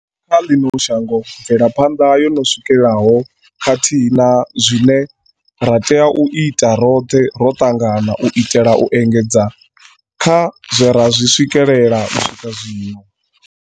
kha ḽino shango, mvelaphanḓa yo no swikelaho khathihi na zwine ra tea u ita roṱhe ro ṱangana u itela u engedza kha zwe ra zwi swikelela u swika zwino.